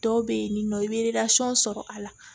Dɔw bɛ yen ni nɔ i bɛ sɔrɔ a la